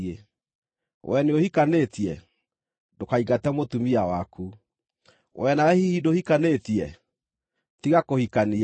Wee nĩũhikanĩtie? Ndũkaingate mũtumia waku. Wee nawe hihi ndũhikanĩtie? Tiga kũhikania.